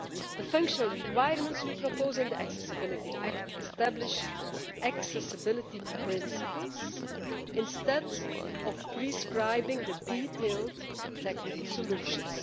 The functional requirements we propose in the Accessibility Act establish accessibility principles instead of prescribing detailed technical solutions.